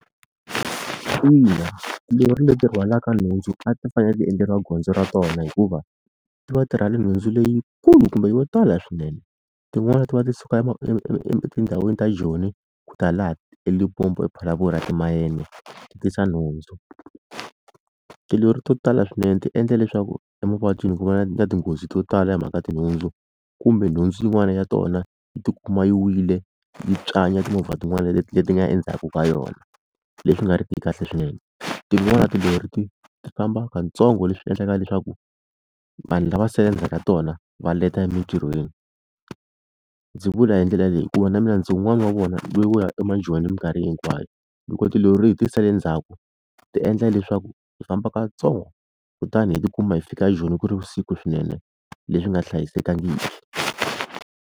Ina tilori leti rhwalaka nhundzu a ti fanele ti endleriwa gondzo ra tona hikuva ti va ti rhwale nhundzu leyikulu kumbe yo tala swinene tin'wana ti va ti suka etindhawini ta joni ku ta la eLimpopo Phalaborwa timayena ti tisa nhundzu. Tilori to tala swinene ti endla leswaku emavabyini ku va na tinghozi to tala hi mhaka tinhundzu kumbe nhundzu yin'wani ya tona yi tikuma yi wile yi tswanya timovha tin'wana leti leti nga endzhaku ka yona leswi nga ri ki kahle swinene tin'wani tilori ti ti famba kantsongo leswi endlaka leswaku vanhu lava sala endzhaku ka tona va leta emintirhweni ndzi vula hi ndlela leyi hikuva na mina ndzi wun'wani wa vona wo ya emajoni hi minkarhi hinkwayo loko tilori hi ti sale ndzhaku ti endla leswaku hi famba katsongo kutani hi tikuma hi fika Joni ku ri vusiku swinene leswi nga hlayisekangiki.